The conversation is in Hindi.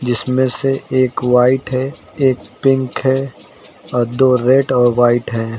जिसमें से एक व्हाइट है एक पिंक है और दो रेड और व्हाइट है।